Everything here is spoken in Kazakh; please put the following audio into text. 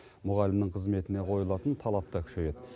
мұғалімнің қызметіне қойылатын талап та күшейеді